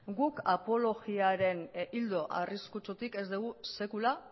guk apologiaren ildo arriskutsutik ez dugu sekula